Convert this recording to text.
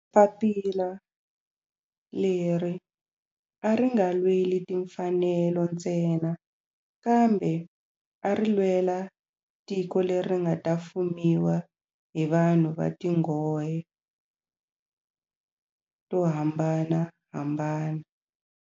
Papila leri a ri nga lweli timfanelo ntsena kambe ari lwela tiko leri nga ta fumiwa hi vanhu va tihlonge to hambanahambana.